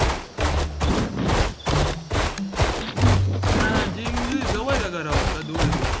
gym जवळ आहे का घराऊन का दूर आहे थोडी